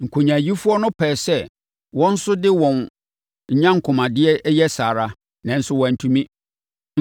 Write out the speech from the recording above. Nkonyaayifoɔ no pɛɛ sɛ wɔn nso de wɔn nyankomadeɛ yɛ saa ara, nanso wɔantumi.